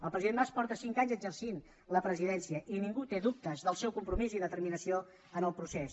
el president mas fa cinc anys que exerceix la presidència i ningú té dubtes del seu compromís i determinació en el procés